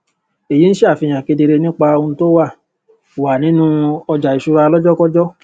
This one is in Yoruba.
èyí ń ṣàfihàn kedere nípa ohun tó wà wà nínú ọjàìṣúra lọjọkọjọ